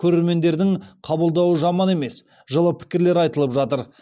көрермендердің қабылдауы жаман емес жылы пікірлер айтылып жатыр